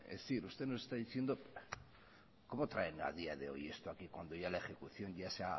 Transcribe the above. es decir usted nos está diciendo cómo traerla a día de hoy esto aquí cuando ya la ejecución